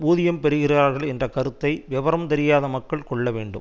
ஊதியம் பெறுகிறார்கள் என்ற கருத்தை விவரம் தெரியாத மக்கள் கொள்ள வேண்டும்